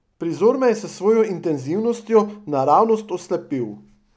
Prizor me je s svojo intenzivnostjo naravnost oslepil.